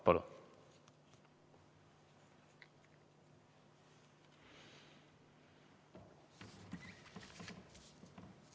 Palun!